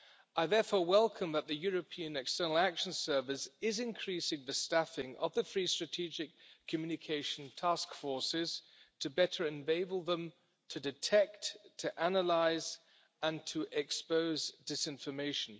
I therefore welcome that the European External Action Service is increasing the staffing of the East Strategic Communication Task Force to better enable them to detect, to analyse, and to expose disinformation.